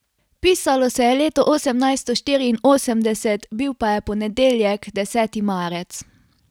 Pisalo se je leto osemnajsto štiriinosemdeset, bil pa je ponedeljek, deseti marec.